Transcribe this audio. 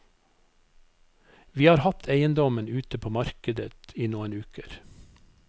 Vi har hatt eiendommen ute på markedet i noen uker.